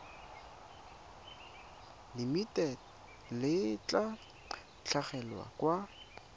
limited le tla tlhagelela kwa